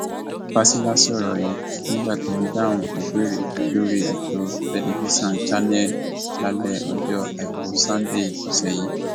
fásilà sọrọ yìí nígbà tó ń dáhùn ìbéèrè lórí ètò tẹlifíṣàn channels lálẹ ọjọ àìkú sannde ọsẹ yìí